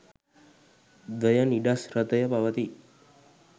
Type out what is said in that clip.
ද්වයනිඞශි්‍රතය පවතී.